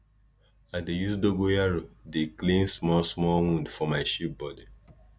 i dey use dogoyaro dey clean small small wound for my sheep body